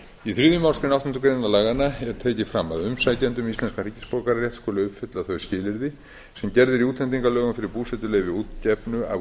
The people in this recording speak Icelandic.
í þriðju málsgrein áttundu grein laganna er tekið fram að umsækjandi um íslenskan ríkisborgararétt skuli uppfylla þau skilyrði sem gerð eru í útlendingalögum fyrir búsetuleyfi útgefnu af